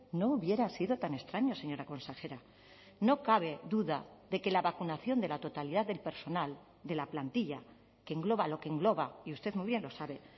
no hubiera sido tan extraño señora consejera no cabe duda de que la vacunación de la totalidad del personal de la plantilla que engloba lo que engloba y usted muy bien lo sabe